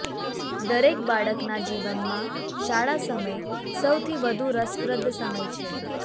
દરેક બાળકના જીવનમાં શાળા સમય સૌથી વધુ રસપ્રદ સમય છે